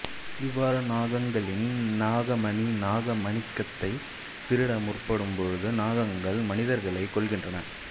இவ்வாறு நாகங்களின் நாகமணி நாக மாணிக்கத்தை திருட முற்படும் பொழுது நாகங்கள் மனிதர்களை கொல்கின்றன